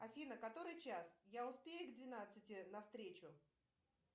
афина который час я успею к двенадцати на встречу